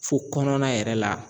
Fo kɔnɔna yɛrɛ la